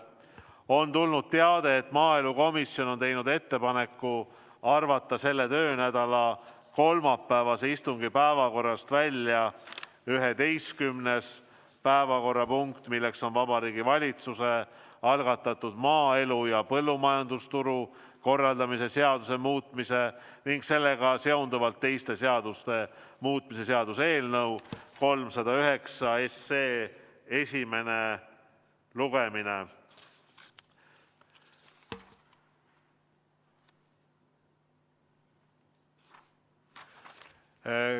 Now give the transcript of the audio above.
On tulnud teade, et maaelukomisjon on teinud ettepaneku arvata selle töönädala kolmapäevase istungi päevakorrast välja 11. päevakorrapunkt, Vabariigi Valitsuse algatatud maaelu ja põllumajandusturu korraldamise seaduse muutmise ning sellega seonduvalt teiste seaduste muutmise seaduse eelnõu 309 esimene lugemine.